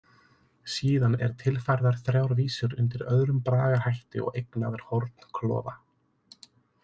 Síðan er tilfærðar þrjár vísur undir öðrum bragarhætti og eignaðar Hornklofa.